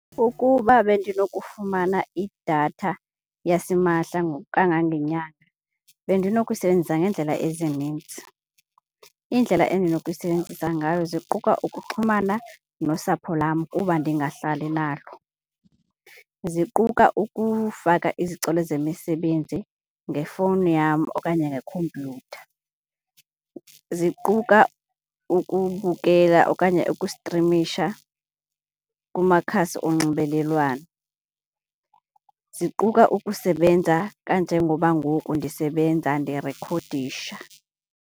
Ukuba bendinokufumana idatha yasimahla ngokukangangenyanga bendinoyisebenzisa ngeendlela ezininzi. Iindlela endinoyisebenzisa ngayo ziquka okuxhumana nosapho lwam kuba ndingahlali nalo. Ziquka ukufaka izicelo zemisebenzi ngefowuni yam okanye ngekhompiyutha. Ziquka ukubukela okanye ukustrimisha kumakhasi onxibelelwano. Ziquka ukusebenza kanje ngoba mgoku ndisebenza ndirekhodisha.